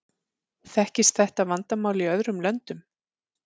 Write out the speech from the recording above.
Þekkist þetta vandamál í öðrum löndum?